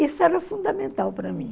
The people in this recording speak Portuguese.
Isso era fundamental para mim.